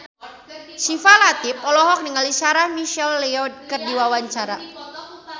Syifa Latief olohok ningali Sarah McLeod keur diwawancara